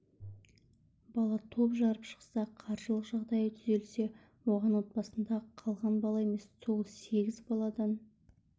бала топ жарып шықса қаржылық жағдайы түзелсе оған отбасындағы қалған бала емес сол сегіз баладан